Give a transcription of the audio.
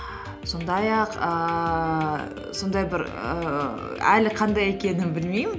сондай ақ ііі сондай бір ііі әлі қандай екенін білмеймін